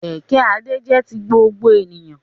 Kẹ̀kẹ́ Adé jẹ́ ti gbogbo èèyàn